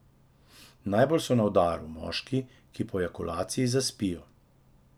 Najbolj so na udaru moški, ki po ejakulaciji zaspijo.